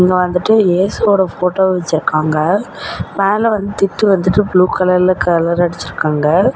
இங்க வந்துட்டு இயேசுவோட போட்டோ வெச்சிருக்காங்க மேல வந்து திட்டு வந்துட்டு ப்ளூ கலர்ல கலர் அடிச்சிருக்காங்க.